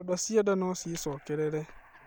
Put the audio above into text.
Ironda cia nda no ciĩcokerere.